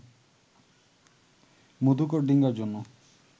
মধুকর ডিঙ্গার জন্য